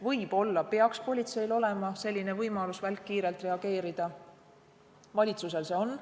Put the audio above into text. Võib-olla peaks politseil olema võimalus välkkiirelt reageerida, valitsusel see on.